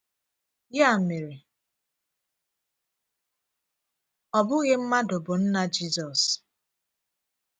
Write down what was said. Ya mere, ọ bụghị mmadụ bụ nna Jizọs.